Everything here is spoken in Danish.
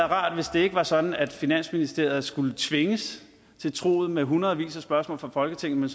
rart hvis det ikke var sådan at finansministeriet skulle tvinges til truget med hundredvis af spørgsmål fra folketinget